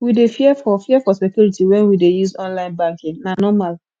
we dey fear for fear for security wen we dey use online banking na normal